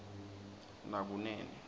nakunene